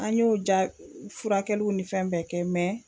An y'o jaa furakɛliw ni fɛn bɛɛ kɛ